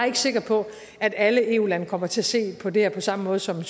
ikke sikker på at alle eu lande kommer til at se på det her på samme måde som